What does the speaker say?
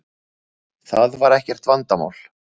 Það var ekkert vandamál.